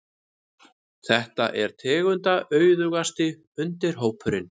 Þetta er tegundaauðugasti undirhópurinn.